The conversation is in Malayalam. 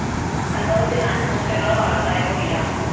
സംഭവത്തില്‍ നാശനഷ്ടങ്ങളോ ആളപായമോ ഇല്ല